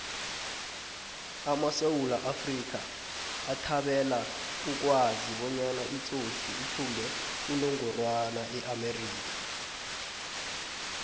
amasewula afrika bathabela ukwazi bonyana itsotsi ithumbe unogorana eamerika